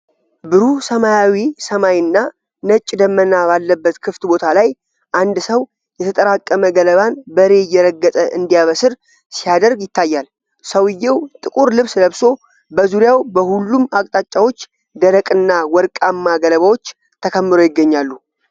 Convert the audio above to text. ብሩህ ሰማያዊ ሰማይ እና ነጭ ደመና ባለበት ክፍት ቦታ ላይ፣ አንድ ሰው የተጠራቀመ ገለባን በሬ እየረገጠ እንዲያበስር ሲያደርግ ይታያል። ሰውዬው ጥቁር ልብስ ለብሶ፣ በዙሪያው በሁሉም አቅጣጫዎች ደረቅ እና ወርቃማ ገለባዎች ተከምረው ይገኛሉ።